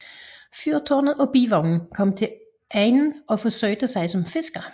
Fyrtårnet og Bivognen kommer til egnen og forsøger sig som fiskere